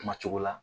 Kuma cogo la